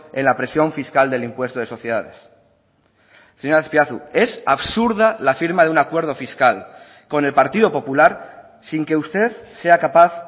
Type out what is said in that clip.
en la presión fiscal del impuesto de sociedades señor azpiazu es absurda la firma de un acuerdo fiscal con el partido popular sin que usted sea capaz